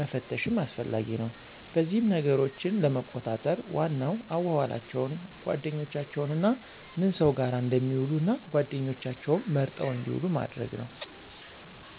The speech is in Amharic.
መፈተሽም አስፈላጊ ነው። በዚህም ነገሮችን ለመቆጣጠር ዋናው አዋዋላቸውን፣ ጓደኛቸውንና ምን ሰው ጋር እንደሚውሉ እና ጓደኛቸውም መርጠው እንድውሉ ማድረግ ነው።